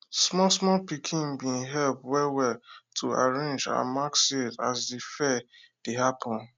small small pikin bin help well well to arrange and mark seed as de fair dey happen